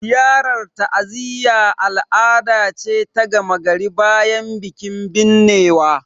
Ziyarar ta'aziyya al'ada ce ta gama gari bayan bikin binnewa